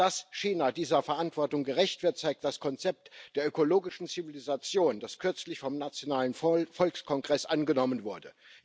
Dass China dieser Verantwortung gerecht wird, zeigt das Konzept der ökologischen Zivilisation, das kürzlich vom nationalen Volkskongress angenommen wurde.